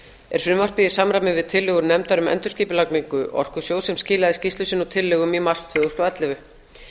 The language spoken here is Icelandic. er frumvarpið í samræmi við tillögur nefndar um endurskipulagningu orkusjóðs sem skilaði skýrslu sinni og tillögum í mars tvö þúsund og ellefu